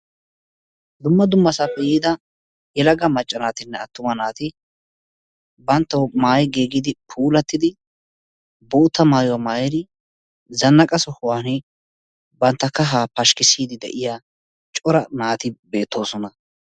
Dumma dumasappe yiida yelaga manccanaatinne attumana naati bantawu maayi giigidinne puulattidi bootta maayuwa maayidi zanaqa sohuwani bantta kahaa pashkisiidi de'iya cora naati beetoosona.